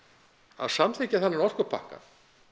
að samþykkja þennan orkupakka